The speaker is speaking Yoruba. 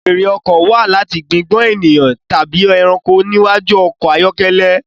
Fèèrè ọkọ̀ wá láti gbigbọn ènìyàn tàbí ẹranko níwájú ọkọ ayọkẹlẹ